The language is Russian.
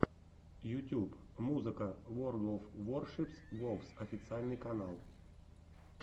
ютьюб музыка ворлд оф воршипс вовс официальный канал